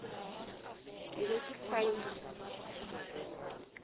ke be ke sa e